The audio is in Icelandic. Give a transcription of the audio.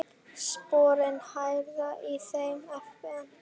Sporin hræða í þeim efnum.